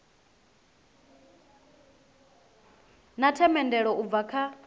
na themendelo u bva kha